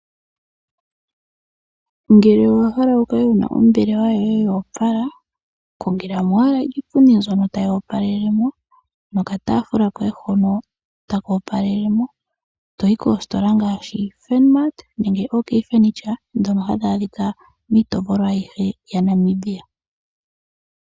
Ngele owa hala wu kale wuna ombelewa yoye yoopala kongela mo owala iipundi mbyono tayi opalele mo, nokataafula koye hono taka opalele mo. Toyi koositola ngaashi; Furnmart nenge oOk furniture ndhono hadhi adhika miitopolwa ayihe yaNamibia.